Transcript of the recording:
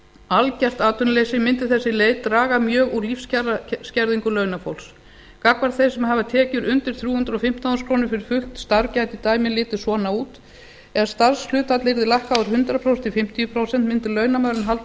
algert atvinnuleysi mundi þessi leið draga mjög úr lífskjaraskerðingu launafólks gagnvart þeim sem hafa tekjur undir þrjú hundruð og fimmtán þúsund krónur fyrir fullt starf gæti dæmið litið svona út ef starfshlutfall yrði lækkað úr hundrað prósent í fimmtíu prósent mundi launamaðurinn halda